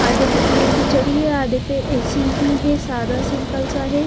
आधे पे पीयूपी चढ़ी है आधे पे ऐसी ही है सादा सिंपल सा है।